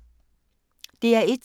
DR1